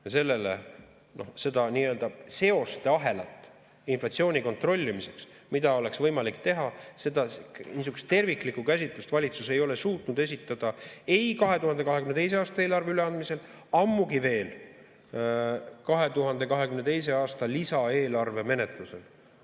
Ja seda seosteahelat inflatsiooni kontrollimiseks, mida oleks võimalik teha, niisugust terviklikku käsitlust valitsus ei ole suutnud esitada ei 2022. aasta eelarve üleandmisel, ammugi veel 2022. aasta lisaeelarve menetlusel.